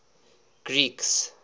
greeks